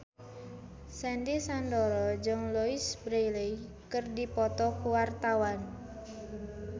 Sandy Sandoro jeung Louise Brealey keur dipoto ku wartawan